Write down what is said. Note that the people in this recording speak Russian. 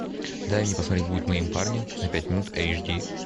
дай мне посмотреть будь моим парнем на пять минут эйч ди